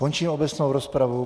Končím obecnou rozpravu.